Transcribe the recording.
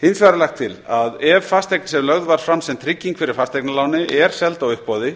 hins vegar er lagt til að ef fasteign sem lögð var fram sem trygging fyrir fasteignaláni er seld á uppboði